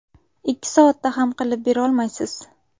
Ikki soatda ham qilib berolmaysiz.